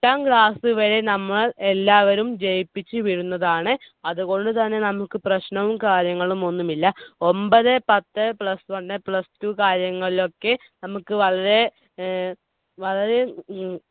എട്ടാം class വരെ നമ്മൾ എല്ലാവരും ജയിപ്പിച്ചുവിടുന്നതാണ്. അതുകൊണ്ടുതന്നെ നമുക്ക് പ്രശ്‌നവും കാര്യങ്ങളൊന്നും ഇല്ല. ഒമ്പത്, പത്ത്, plus one, plus two കാര്യങ്ങളിലൊക്കെ നമുക്ക് വളരെ വളരെ